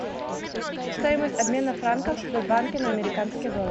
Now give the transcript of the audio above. стоимость обмена франков в сбербанке на американский доллар